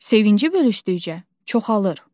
Sevinci bölüşdükcə çoxalır.